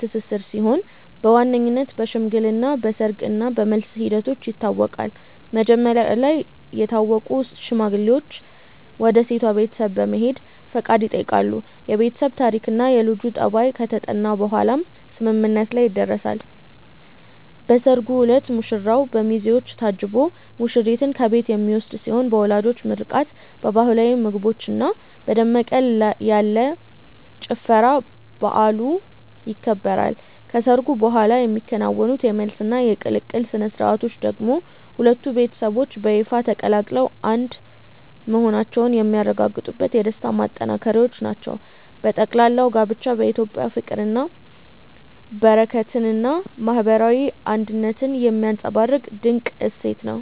ትስስር ሲሆን በዋነኝነት በሽምግልና፣ በሰርግ እና በመልስ ሂደቶች ይታወቃል። መጀመሪያ ላይ የታወቁ ሽማግሌዎች ወደ ሴቷ ቤተሰብ በመሄድ ፈቃድ ይጠይቃሉ፤ የቤተሰብ ታሪክና የልጁ ጠባይ ከተጠና በኋላም ስምምነት ላይ ይደረሳል። በሰርጉ ዕለት ሙሽራው በሚዜዎች ታጅቦ ሙሽሪትን ከቤት የሚወስድ ሲሆን በወላጆች ምርቃት፣ በባህላዊ ምግቦችና በደመቅ ያለ ጭፈራ በዓሉ ይከበራል። ከሰርጉ በኋላ የሚከናወኑት የመልስና የቅልቅል ሥነ ሥርዓቶች ደግሞ ሁለቱ ቤተሰቦች በይፋ ተቀላቅለው አንድ መሆናቸውን የሚያረጋግጡበት የደስታ ማጠናቀቂያዎች ናቸው። በጠቅላላው ጋብቻ በኢትዮጵያ ፍቅርን፣ በረከትንና ማህበራዊ አንድነትን የሚያንፀባርቅ ድንቅ እሴት ነው።